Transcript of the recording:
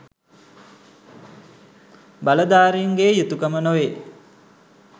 බලධාරීන්ගේ යුතුකම නොවේ.